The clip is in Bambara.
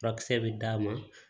Furakisɛ bɛ d'a ma